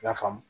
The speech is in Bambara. I y'a faamu